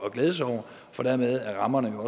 at glæde sig over for dermed er rammerne